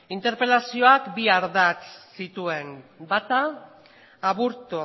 interpelazioak bi ardatz zituen bata aburto